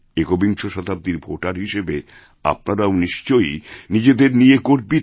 একবিংশ শতাব্দীর ভোটারহিসেবে আপনারাও নিশ্চয়ই নিজেদের নিয়ে গর্বিত